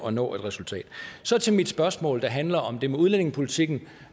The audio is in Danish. at nå et resultat så til mit spørgsmål der handler om det med udlændingepolitikken